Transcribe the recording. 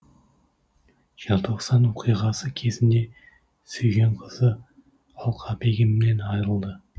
желтоқсан оқиғасы кезінде сүйген қызы алқабегімнен айрылды